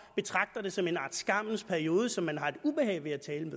betragter det som en art skammens periode som man har et ubehag ved at tale